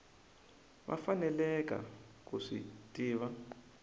va faneleke ku swi tiva